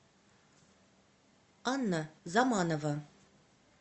анна заманова